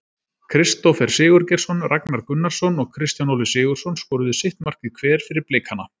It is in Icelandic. Kristófer Sigurgeirsson, Ragnar Gunnarsson og Kristján Óli Sigurðsson skoruðu sitt markið hver fyrir Blikana.